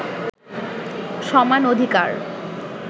সমান অধিকার